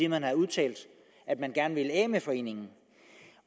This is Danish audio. man har udtalt at man gerne vil af med foreningen